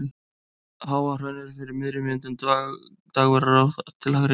Háahraun er fyrir miðri mynd en Dagverðará þar til hægri.